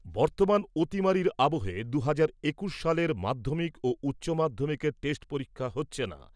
বর্তমান অতিমারির আবহে দু'হাজার একুশ সালের মাধ্যমিক ও উচ্চ মাধ্যমিকের টেস্ট পরীক্ষা হচ্ছে না।